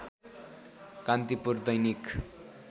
Kantipur Dainik